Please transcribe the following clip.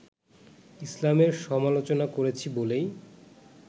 ইসলামের সমালোচনা করেছি বলেই